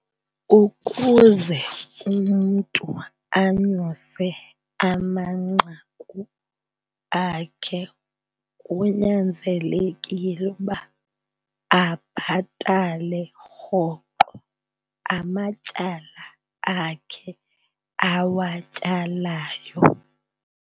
Ukuze umntu anyuse amanqaku akhe kunyanzelekile uba abhatale rhoqo amatyala akhe awatyalayo.